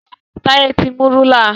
Taye tí mú Rúlà.